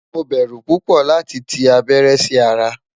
Mo bẹ́rú púpọ̀ lati tì abẹ̀rẹ̀ sí ara